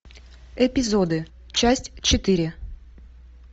эпизоды часть четыре